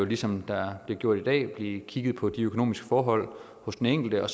ligesom der bliver gjort i dag vil blive kigget på de økonomiske forhold hos den enkelte og